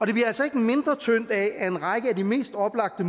det bliver altså ikke mindre tyndt af at en række af de mest oplagte